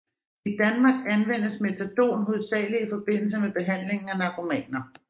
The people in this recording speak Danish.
I Danmark anvendes metadon hovedsageligt i forbindelse med behandlingen af narkomaner